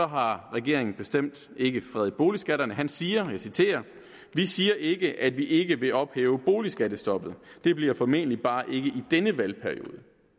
har regeringen bestemt ikke fredet boligskatterne han siger og jeg citerer vi siger ikke at vi ikke vil ophæve boligskattestoppet det bliver formentlig bare ikke i denne valgperiode